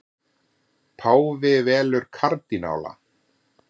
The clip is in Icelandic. Páfi velur kardínála